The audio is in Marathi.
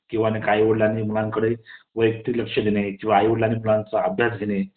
किंव्हा आई वडिलांनी मुलांकडे वैयक्तिक लक्ष देणे किव्हा आई वडिलांनी मुलांचा अभ्यास घेणे